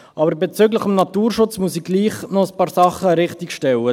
Aber bezüglich des Naturschutzes muss ich gleichwohl noch ein paar Sachen richtigstellen: